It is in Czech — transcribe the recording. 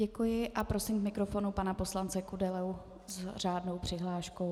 Děkuji a prosím k mikrofonu pana poslance Kudelu s řádnou přihláškou.